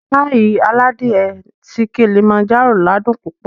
Páyì aládìe ti Kilimanjaro ládùn púpọ̀